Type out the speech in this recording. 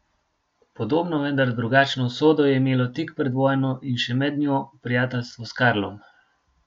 Podobno, vendar drugačno usodo je imelo tik pred vojno in še med njo prijateljstvo s Karlom.